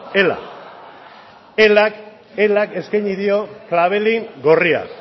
elak eskaini dio klabelin gorria